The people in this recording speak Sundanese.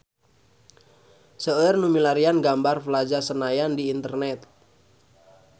Seueur nu milarian gambar Plaza Senayan di internet